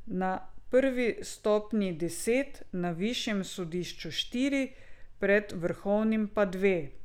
Na prvi stopnji deset, na višjem sodišču štiri, pred vrhovnim pa dve.